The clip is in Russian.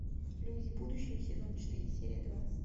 люди будущего сезон четыре серия двадцать